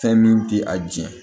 Fɛn min tɛ a jɛn